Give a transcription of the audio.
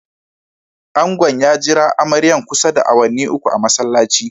Angon ya jira amaryan kusa da awanni uku a'masallaci.